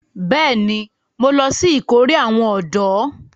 Bẹ́ẹ̀ni, mo lọ sí ìkórè àwọn ọ̀dọ́